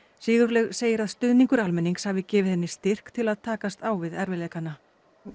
Sigurlaug segir að stuðningur almennings hafi gefið henni styrk til að takast á við erfiðleikana